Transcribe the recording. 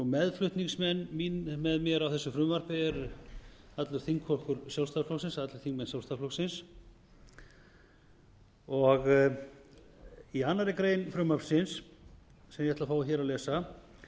meðflutningsmenn með mér á þessu frumvarpi er allur þingflokkur sjálfstæðisflokksins allir þingmenn sjálfstæðisflokksins í annarri grein frumvarpsins sem ég ætla að fá hér að lesa